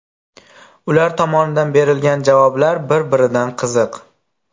Ular tomonidan berilgan javoblar bir-biridan qiziq.